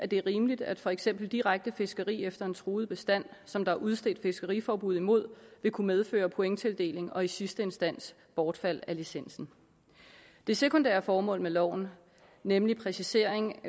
det er rimeligt at for eksempel direkte fiskeri efter en truet bestand som der er udstedt fiskeriforbud mod vil kunne medføre pointtildeling og i sidste instans bortfald af licensen det sekundære formål med loven nemlig præcisering